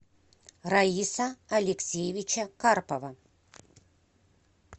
раиса алексеевича карпова